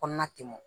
Kɔnɔna tɛmɛn